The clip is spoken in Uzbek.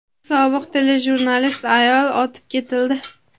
sobiq telejurnalist ayol otib ketildi.